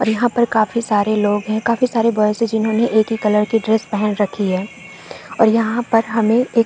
और यहाँ पर काफी सारे लोग है काफी सारे बॉयस है जिन्होंने एक ही कलर के ड्रेस पहन रखी है और यहाँ पर हमें एक --